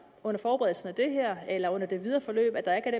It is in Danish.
under forberedelsen af det her eller under det videre forløb at der